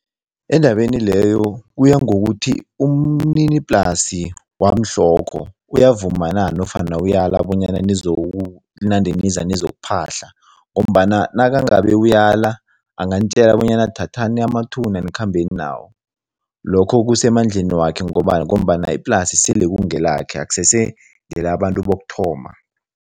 Endabeni leyo, kuya ngokuthi umniniplasi wamhlokho uyavuma na nofana uyala bonyana nizokunande niza nizokuphahla ngombana nakangabe uyala, anganitjela bonyana thathani amathuna nikhambeni nawo. Lokho kusemandleni wakhe ngombana iplasi sele kungelakhe akusese ngelabantu bokuthoma.